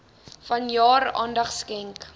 vanjaar aandag skenk